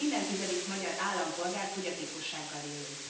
Minden tizedik magyar állampolgár fogyatékossággal élő.